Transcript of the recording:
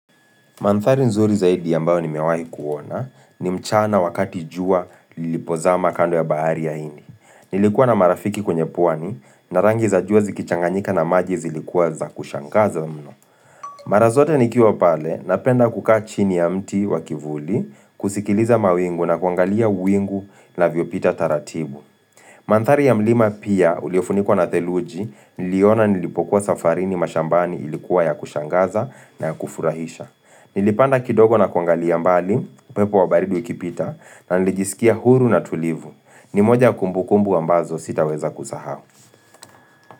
Manthari nzuri zaidi ambao nimewai kuona ni mchana wakati jua lilipozama kando ya bahari ya hindi. Nilikuwa na marafiki kwenye puani na rangi za jua zikichanganyika na maji zilikuwa za kushangaza mno. Mara zote nikiwa pale napenda kukaa chini ya mti wa kivuli kusikiliza mawingu na kuangalia uwingu unavyopita taratibu. Manthari ya mlima pia uliofunikuwa na theluji niliona nilipokuwa safarini mashambani ilikuwa ya kushangaza na ya kufurahisha. Nilipanda kidogo na kuangali mbali, upepo wa baridi ukipita na nilijisikia huru na tulivu ni moja kumbukumbu ambazo sitaweza kusaha.